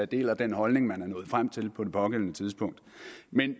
deler den holdning man er nået frem til på det pågældende tidspunkt